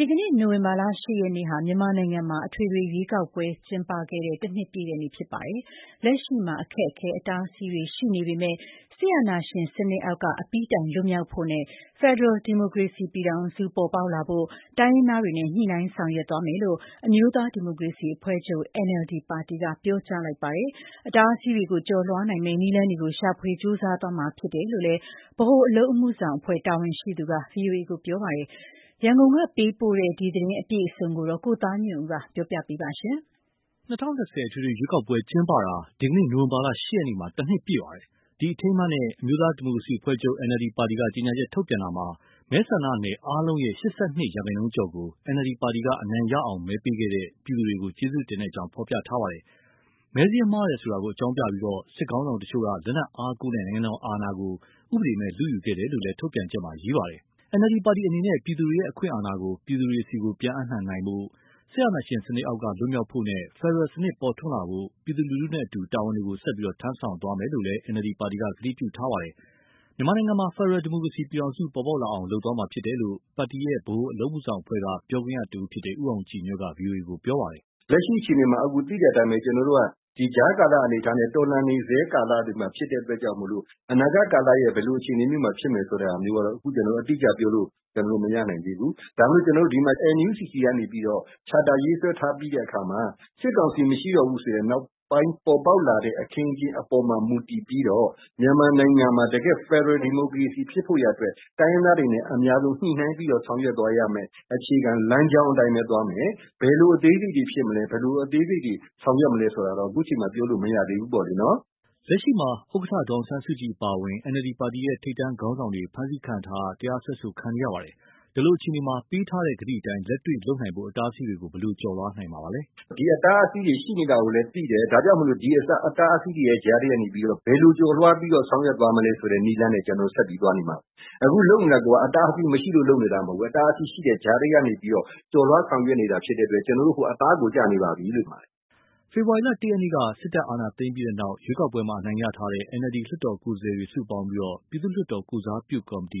ဒီနေ့ နိုဝင်ဘာ ၈ ရက်ဟာ မြန်မာနိုင်ငံမှာ အထွေထွေရွေးကောက်ပွဲ ကျင်းပခဲ့တဲ့ ၁ နှစ်ပြည့်တဲ့နေ့ ဖြစ်ပါတယ်။ လက်ရှိမှာ အခက်အခဲ၊ အတားအဆီးတွေ ရှိနေပေမယ့်လည်း စစ်အာဏာရှင်စနစ်အောက်က အပြီးတိုင် လွတ်မြောက်ဖို့နဲ့ ဖက်ဒရယ် ဒီမိုကရေစီပြည်ထောင်စု ပေါ်ပေါက်လာဖို့ တိုင်းရင်းသားတွေနဲ့ ညှိနှိုင်းဆောင်ရွက်သွားမယ်လို့ အမျိုးသားဒီမိုကရေစီအဖွဲ့ချုပ် ပါတီက ပြောကြားလိုက်ပါတယ်။ အတားအဆီးတွေကို ကျော်လွှားနိုင်မယ့် နည်းလမ်းတွေကို ရှာဖွေကြိုးစားသွားမှာ ဖြစ်တယ်လို့ ဗဟိုအလုပ်အမှုဆောင်အဖွဲ့ တာဝန်ရှိသူက ဗွီအိုအေကို ပြောပါတယ်။ ရန်ကုန်ကပေးပို့တဲ့ ဒီအကြောင်းအပြည့်အစုံကို ကိုသားညွန့်ဦး ပြောပြမှာပါ။ ၂၀၂၀ အထွေထွေရွေးကောက်ပွဲ ကျင်းပတာ ဒီနေ့ နိုဝင်ဘာ ၈ ရက်မှာ ၁ နှစ်ပြည့်ပါတယ်။ ဒီအထိမ်းအမှတ်နဲ့ အမျိုးသားဒီမိုကရေစီအဖွဲ့ချုပ် ပါတီက ကြေညာချက် ထုတ်ပြန်တာမှာ မဲဆန္ဒနယ်အားလုံးရဲ့ ၈၂ ရာခိုင်နှုန်းကျော်ကို NLD ပါတီက အနိုင်ရအောင် မဲပေးခဲ့တဲ့ ပြည်သူတွေကို ကျေးဇူးတင်ကြောင်း ဖော်ပြထားပါတယ်။ မဲစာရင်းမှားတယ်ဆိုတာ အကြောင်းပြပြီး စစ်ခေါင်းဆောင်တချို့က လက်နက်အားကိုးနဲ့ နိုင်ငံတော်အာဏာကို ဥပဒေမဲ့ လုယူခဲ့တယ်လို့လည်း ထုတ်ပြန်ချက်မှာ ရေးထားပါတယ်။ NLD ပါတီအနေနဲ့ ပြည်သူတွေရဲ့ အခွင့်အာဏာကို ပြည်သူတွေဆီ ပြန်အပ်နှံနိုင်ဖို့၊ စစ်အာဏာရှင်စနစ်အောက်က လွတ်မြောက်ဖို့နဲ့ ဖက်ဒရယ်စနစ် ပေါ်ထွန်းလာဖို့ ပြည်သူလူထုနဲ့အတူ တာဝန်ကို ဆက်ပြီး ထမ်းဆောင်သွားမယ်လို့လည်း ကတိပြုထားပါတယ်။ မြန်မာနိုင်ငံမှာ ဖက်ဒရယ် ဒီမိုကရေစီပြည်ထောင်စု ပေါ်ပေါက်လာအောင် လုပ်သွားမှာဖြစ်တယ်လို့ ပါတီရဲ့ ဗဟိုအလုပ်အမှုဆောင်အဖွဲ့က ပြောခွင့်ရတဦးဖြစ်တဲ့ ဦးအောင်ကြည်ညွန့်က ဗွီအိုအေကို ပြောပါတယ်။ “လက်ရှိအခြေအနေမှာ သိတဲ့အတိုင်းပဲ ကျနော်တို့က ကြားကာလ အနေအထားနဲ့ တော်လှန်နေဆဲ ကာလတွေမှာ ဖြစ်တဲ့အတွက်ကြောင့်မို့ အနာဂတ်ကာလရဲ့ ဘယ်လိုအခြေအနေမျိုးမှာ ဖြစ်မယ်ဆိုတာ အတိအကျပြောလို့ မရနိုင်သေးဘူး။ ဒါပေမယ့် ကျနော်တို့ ဒီမှာ NUCC ကနေပြီးတော့ Charter ရေးဆွဲထားပြီးတဲ့အခါမှာ စစ်ကောင်စီမရှိတော့တဲ့ နောက်ပိုင်းအခင်းအကျင်း အပေါ်မှာ မူတည်ပြီးတော့ မြန်မာနိုင်ငံမှာ တကယ့် ဖက်ဒရယ်ဒီမိုကရေစီ ဖြစ်ဖို့ရာအတွက် တိုင်းရင်းသားတွေနဲ့ အများဆုံးညှိနှိုင်းပြီး ဆောင်ရွက်သွားရမယ့် အခြေခံလမ်းကြောင်းအတိုင်းပဲ သွားမယ်။ ဘယ်လို အသေးစိတ်တွေဖြစ်မလဲ၊ ဆောင်ရွက်မလဲဆိုတာ အခုအချိန်မှာ ပြောလို့မရသေးဘူးပေါ့။” လက်ရှိမှာ ဥက္ကဋ္ဌ ဒေါ်အောင်ဆန်းစုကြည် အပါအဝင် NLD ပါတီရဲ့ ခေါင်းဆောင်တွေ ဖမ်းဆီးခံထားရ၊ တရားစွဲဆိုခံနေရပါတယ်။ ဒီလိုအခြေအနေမှာ ပေးတဲ့ကတိအတိုင်း လက်တွေ့လုပ်နိုင်ဖို့ အတားအဆီးတွေကို ဘယ်လိုကျော်လွှားနိုင်မှာပါလဲ။ “ဒီအတားအဆီးတွေ ရှိနေတာကိုလည်း သိတယ်၊ ဒါကြောင့်မို့ ဒီအတားအဆီးတွေ ကြားထဲက ဘယ်လိုကျော်လွှားပြီး ဆောင်ရွက်သွားမလဲဆိုတဲ့ နည်းလမ်းနဲ့ ကျနော်တို့ ဆက်ပြီးသွားနေမှာပါ။ အခုလုပ်နေတာကိုက အတားအဆီးမရှိလို့ လုပ်နေတာ မဟုတ်ဘူး၊ အတားအဆီး ရှိတဲ့ကြားထဲကနေ ကျော်လွှားဆောင်ရွက်နေတာဖြစ်လို့ ကျနော်တို့ အခု အသားကိုကျနေပါပြီ။” ဖေဖော်ဝါရီလ ၁ ရက်က စစ်တပ်အာဏာသိမ်းခဲ့ပြီးနောက် ရွေးကောက်ပွဲမှာ အနိုင်ရထားတဲ့ NLD လွှတ်တော်ကိုယ်စားလှယ်တွေ စုပေါင်းပြီး ပြည်သူ့လွှတ်တော် ကိုယ်စားပြုကော်မတီ